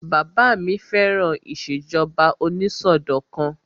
Bàbá mi fẹ́ràn ìṣèjọba onísọdọ̀kan